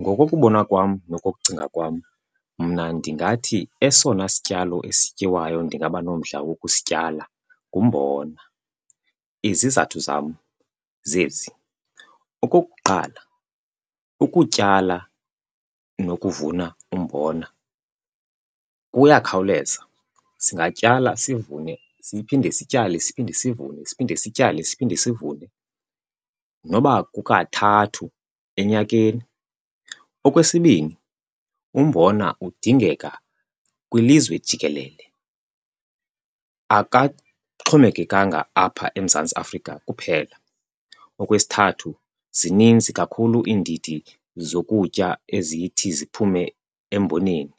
Ngokokubona kwam nokokucinga kwam, mna ndingathi esona sityalo esityiwayo ndingaba nomdla wokusityala ngumbona. Izizathu zam zezi. Okokuqala, ukutyala nokuvuna umbona kuyakhawuleza. Singatyala sivune, siphinde sityale siphinde sivune, siphinde sityale siphinde sivune noba kukathathu enyakeni. Okwesibini, umbona udingeka kwilizwe jikelele akaxhomekekanga apha eMzantsi Afrika kuphela. Okwesithathu, zininzi kakhulu iindidi zokutya ezithi ziphume emboneni,